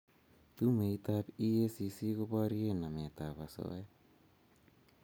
Tumeit ab EACC ko borie namet ab asoya